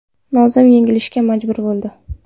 Nozim yengilishga majbur bo‘ldi.